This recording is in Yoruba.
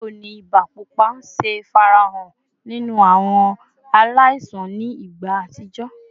Bawo ni iba pupa ṣe farahan ninu awọn alaisan ni igba atijọ?